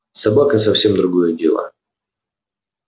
собака совсем другое дело